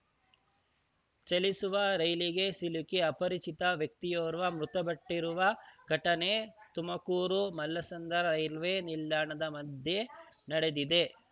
ಚಲಿಸುವ ರೈಲಿಗೆ ಸಿಲುಕಿ ಅಪರಿಚಿತ ವ್ಯಕ್ತಿಯೋರ್ವ ಮೃತಪಟ್ಟಿರುವ ಘಟನೆ ತುಮಕೂರುಮಲ್ಲಸಂದ್ರ ರೈಲ್ವೆ ನಿಲ್ದಾಣದ ಮಧ್ಯೆ ನಡೆದಿದೆ